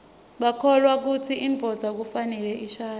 bakholwa kutsi indvodza kufanele ishadze